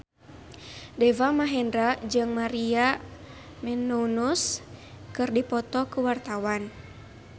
Deva Mahendra jeung Maria Menounos keur dipoto ku wartawan